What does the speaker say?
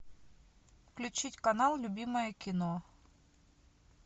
включить канал любимое кино